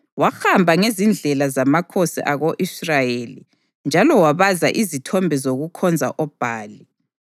Wahamba ngezindlela zamakhosi ako-Israyeli njalo wabaza izithombe zokukhonza oBhali.